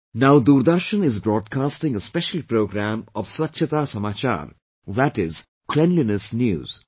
Now Doordarshan is broadcasting a special programme of 'Swachchhta Samachar', that is 'Cleanliness News'